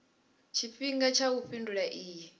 tshifhinga tsha u fhindula iyi